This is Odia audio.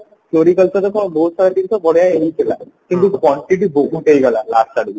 floricultureରେ ତ ବହୁତ ସାରା ଜିନିଷ ବଢିଆ ହେଇଥିଲା କିନ୍ତୁ quantity ବହୁତ ହେଇଗଲା last ଆଡକୁ